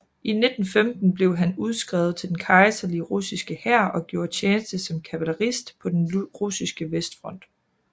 I 1915 blev han udskrevet til den kejserlige russiske hær og gjorde tjeneste som kavalerist på den russiske vestfront